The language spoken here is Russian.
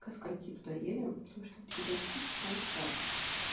ко скольки туда едем потому что в девятнадцать тридцать там типа